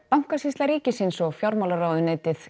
bankasýsla ríkisins og fjármálaráðuneytið